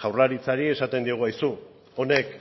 jaurlaritzari esaten diogu aizu honek